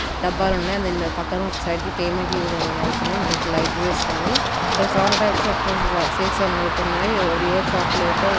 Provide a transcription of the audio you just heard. డబ్బాలు ఉన్నాయ్. దాని పక్కన ఒక సైడ్కి పేమెంట్ యూలో కడ్పడుతున్నాయి. మనకు లైట్ వేసి ఉంది. ఇక్కడ చాల టైప్స్ అఫ్ షేక్స్ కనపడ్తున్నాయి. Oreo chocolate --